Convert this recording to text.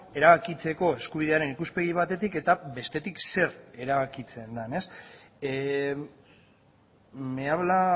erabakitzeko eskubidearen ikuspegi batetik eta bestetik zer erabakitzen den me habla